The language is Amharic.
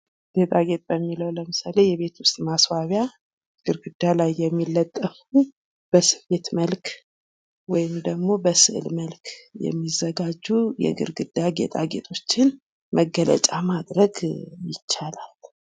ጌጣጌጥ ለሚለው ለምሳሌ የቤት ውስጥ ማስዋቢያ ገርግዳ ላይ የሚለጠፉ በስሜት መልክ ወይም ደሞ በስዕል መልክ የሚዘጋጁ የግርግዳ ጌጦችን መገለጫ ማድረግ ይቻላል፡፡